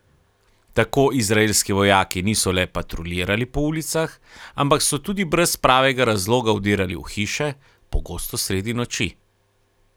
Tako izraelski vojaki niso le patruljirali po ulicah, ampak so tudi brez pravega razloga vdirali v hiše, pogosto sredi noči.